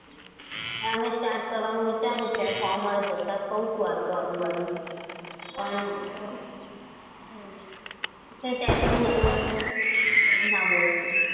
start કરવાનું વિચાર્યું છે કામ મળે તો કહું છું એમ તો આજુબાજુ. પણ કઈ setting હોય તો હા બોલો બોલો.